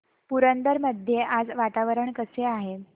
पुरंदर मध्ये आज वातावरण कसे आहे